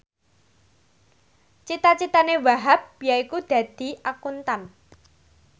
cita citane Wahhab yaiku dadi Akuntan